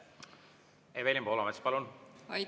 Evelin Poolamets, palun!